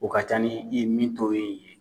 O ka ca ni i min to ye ye.